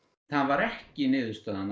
það var ekki niðurstaðan